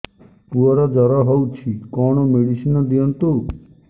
ପୁଅର ଜର ହଉଛି କଣ ମେଡିସିନ ଦିଅନ୍ତୁ